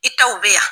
I taw bɛ yan